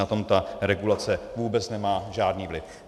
Na tom ta regulace vůbec nemá žádný vliv.